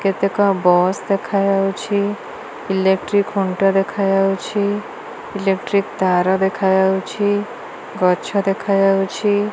କେତେକ ବସ ଦେଖା ଯାଉଛି ଇଲେକ୍ଟ୍ରିକ ଖୁଣ୍ଟ ଦେଖା ଯାଉଚୁ ଇଲେକ୍ଟ୍ରିକ ତାର ଦେଖାଯାଉଚି ଗଛ ଦେଖା ଯାଉଚି।